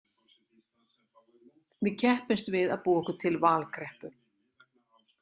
Við keppumst við að búa okkur til valkreppu.